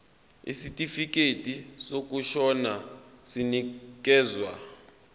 isitifikedi sokushona sinikezwa